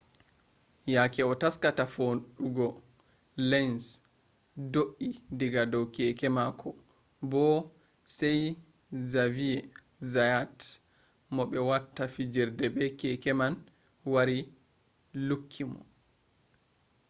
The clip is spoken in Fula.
yake o taskata fuɗɗugo lenz do’i diga dow keke mako bo sai zaviye zayat mo ɓe watta fijirde be keke man wari lukki mo